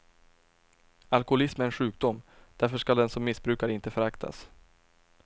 Alkolism är en sjukdom, därför skall den som missbrukar inte föraktas.